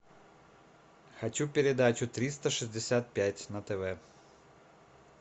хочу передачу триста шестьдесят пять на тв